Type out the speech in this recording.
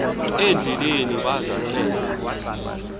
endleleni baza ke